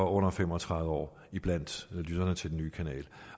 under fem og tredive år blandt lytterne til den nye kanal